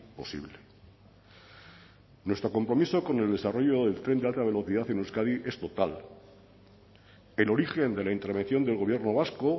posible nuestro compromiso con el desarrollo del tren de alta velocidad en euskadi es total el origen de la intervención del gobierno vasco